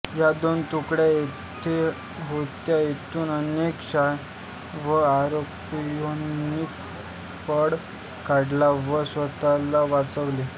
या दोन तुकड्या जेथे होत्या तेथून अनेक शायान व अरापाहोंनी पळ काढला व स्वतःला वाचवले